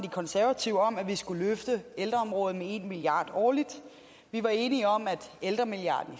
konservative om at vi skulle løfte ældreområdet med en milliard kroner årligt vi var enige om at ældremilliarden